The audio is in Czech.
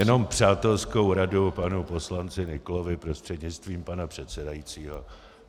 Jenom přátelskou radu panu poslanci Nyklovi prostřednictvím pana předsedajícího.